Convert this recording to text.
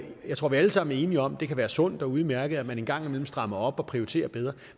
jeg tror vi alle sammen er enige om det kan være sundt og udmærket at man en gang imellem strammer op og prioriterer bedre